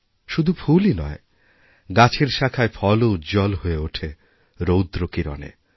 শুধু ফুলই নয় গাছের শাখায় ফলও উজ্জ্বল হয়ে ওঠে রৌদ্রকিরণে